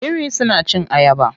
Biri suna cin ayaba.